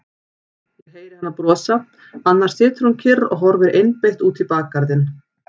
Ég heyri hana brosa, annars situr hún kyrr og horfir einbeitt út í bakgarðinn.